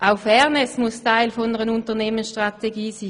Auch die Fairness muss Teil einer Unternehmensstrategie sein.